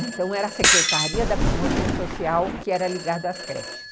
Então era a Secretaria da Promoção Social que era ligada às creches.